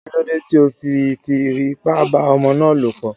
Kílódé tí o fi fi ipá bá ọmọ ná lọ̀ pọ̀?